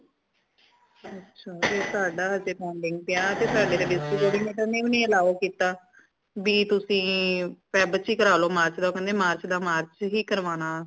ਅੱਛਾ ਤੇ ਸਾਡਾ ਹਜੇ pending ਪਿਆ ਤੇ ਸਾੜੇ ਤੇ district coordinator ਨੇ ਵੀ allow ਕੀਤਾ ਭੀ ਤੁਸੀ ਫੈਬ ਚ ਕਰਾ ਲੋ ਮਾਰਚ ਦਾ ਕਹਿੰਦੇ ਮਾਰਚ ਦਾ ਮਾਰਚ ਹੀ ਕਰਵਾਣਾ